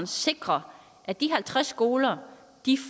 sikre at de halvtreds skoler